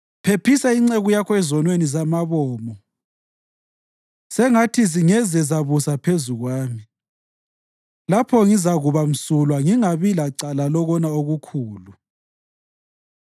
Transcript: Phephisa inceku yakho ezonweni zamabomo; sengathi zingeze zabusa phezu kwami. Lapho ngizakuba msulwa ngingabi lacala lokona okukhulu.